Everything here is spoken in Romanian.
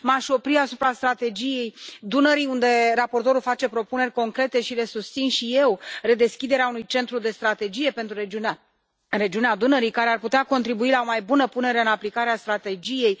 M aș opri asupra Strategiei pentru regiunea Dunării, unde raportorul face propuneri concrete, pe care le susțin și eu redeschiderea unui centru de strategie pentru regiunea Dunării, care ar putea contribui la o mai bună punere în aplicare a strategiei.